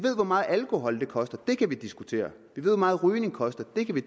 hvor meget alkoholmisbrug koster det kan vi diskutere vi ved hvor meget rygning koster det kan vi